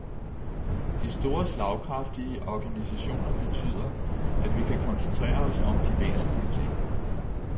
De store slagkraftige organisationer betyder, at vi kan koncentrere os om de væsentlige ting.